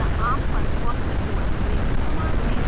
या arm पर fossee os में भी समान है